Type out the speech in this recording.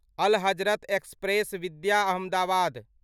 अल Hazrat express विद्या अहमदाबाद